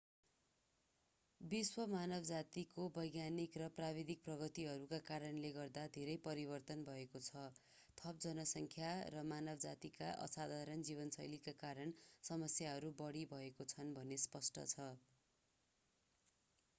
विश्व मानवजातिको वैज्ञानिक र प्राविधिक प्रगतिहरूका कारणले गर्दा धेरै परिवर्तन भएको छ थप जनसङ्ख्या र मानवजातीका असाधारण जीवनशैलीका कारण समस्याहरू बढी भएका छन् भन्ने स्पष्ट छ